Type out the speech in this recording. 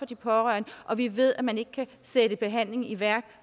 de pårørende og vi ved at man ikke kan sætte behandling i værk